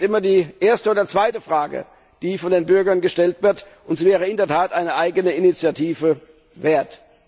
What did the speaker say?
Das ist immer die erste oder zweite Frage, die von den Bürgern gestellt wird, und sie wäre in der Tat eine eigene Initiative wert.